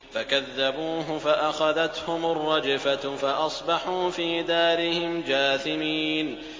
فَكَذَّبُوهُ فَأَخَذَتْهُمُ الرَّجْفَةُ فَأَصْبَحُوا فِي دَارِهِمْ جَاثِمِينَ